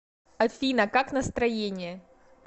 афина как настроение